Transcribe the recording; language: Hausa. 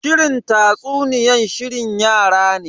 Shirin tatsuniyan shirin yara ne.